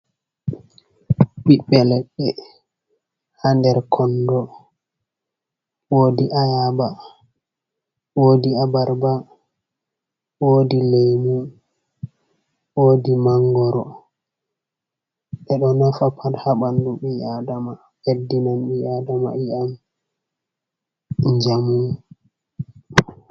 Biɓɓe leɗɗe hader kondo wodi ayaba, wodi abarba, wodi lemu ,wodi mangoro , ɓedo nafa pat habandu ɓii adama ɓeɗɗinan ɓii adama iyam jamum.